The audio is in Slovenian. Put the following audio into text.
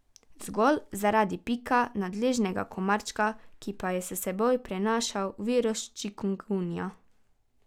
Zgolj zaradi pika nadležnega komarčka, ki pa je s seboj prenašal virus čikungunja.